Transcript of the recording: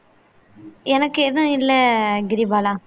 எனக்கு எதுவும் இல்ல கிரிபாலா